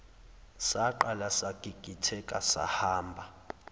saqala sagigitheka sahamba